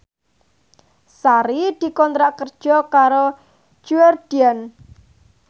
Sari dikontrak kerja karo Guardian